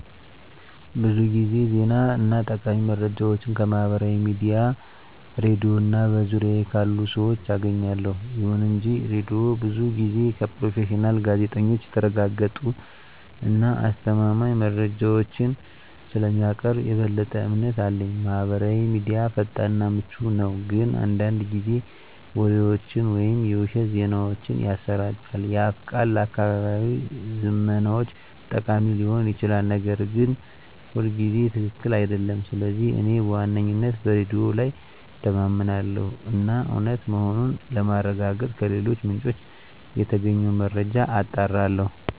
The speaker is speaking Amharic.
ብዙ ጊዜ ዜና እና ጠቃሚ መረጃዎችን ከማህበራዊ ሚዲያ፣ ሬድዮ እና በዙሪያዬ ካሉ ሰዎች አገኛለሁ። ይሁን እንጂ ሬዲዮው ብዙ ጊዜ ከፕሮፌሽናል ጋዜጠኞች የተረጋገጡ እና አስተማማኝ መረጃዎችን ስለሚያቀርብ የበለጠ እምነት አለኝ። ማህበራዊ ሚዲያ ፈጣን እና ምቹ ነው፣ ግን አንዳንድ ጊዜ ወሬዎችን ወይም የውሸት ዜናዎችን ያሰራጫል። የአፍ ቃል ለአካባቢያዊ ዝመናዎች ጠቃሚ ሊሆን ይችላል, ነገር ግን ሁልጊዜ ትክክል አይደለም. ስለዚህ እኔ በዋነኝነት በሬዲዮ ላይ እተማመናለሁ እና እውነት መሆኑን ለማረጋገጥ ከሌሎች ምንጮች የተገኘውን መረጃ አጣራለሁ።